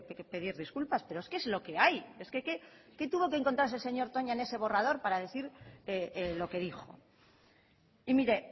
que pedir disculpas pero es que es lo que hay es que qué tuvo que encontrarse el señor toña en ese borrador para decir lo que dijo y mire